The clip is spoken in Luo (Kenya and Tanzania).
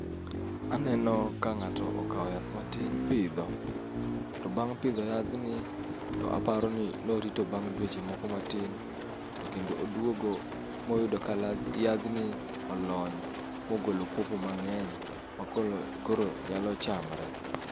Aneno ka ng'ato okawo yath matin pidho. To bang' pidho yadhni, to aparo ni norito bang' dweche moko matin. To kendo odwogo moyudo ka ladh yadhni olony mogolo popo mang'eny ma koro, koro nyalo chamre.